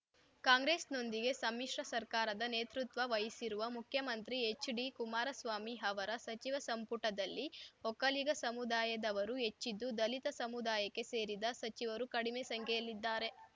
ಕಾಂಗ್ರೆಸ್‌ನೊಂದಿಗೆ ಸಮ್ಮಿಶ್ರ ಸರ್ಕಾರದ ನೇತೃತ್ವ ವಹಿಸಿರುವ ಮುಖ್ಯಮಂತ್ರಿ ಎಚ್‌ಡಿಕುಮಾರಸ್ವಾಮಿ ಅವರ ಸಚಿವ ಸಂಪುಟದಲ್ಲಿ ಒಕ್ಕಲಿಗ ಸಮುದಾಯದವರು ಹೆಚ್ಚಿದ್ದು ದಲಿತ ಸಮುದಾಯಕ್ಕೆ ಸೇರಿದ ಸಚಿವರು ಕಡಿಮೆ ಸಂಖ್ಯೆಯಲ್ಲಿದ್ದಾರೆ